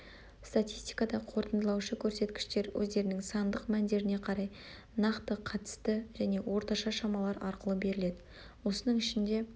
статистикада қорытындылаушы көрсеткіштер өздерінің сандық мәндеріне қарай нақты қатысты және орташа шамалар арқылы беріледі осының ішінде